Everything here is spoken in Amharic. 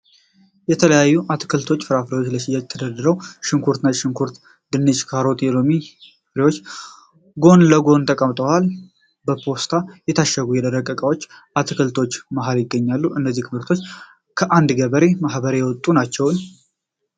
የተለያዩ አትክልቶችና ፍራፍሬዎች ለሽያጭ ተደራርበዋል። ሽንኩርቶች፣ ነጭ ሽንኩርቶች፣ ድንች፣ ካሮትና የሎሚ ፍሬዎች ጎን ለጎን ተቀምጠዋል። ። በፖስታ የታሸጉ የደረቁ እቃዎችም በአትክልቶቹ መሀል ይገኛሉ። እነዚህ ምርቶች ከአንድ የገበሬ ማህበር የመጡ ናቸውን?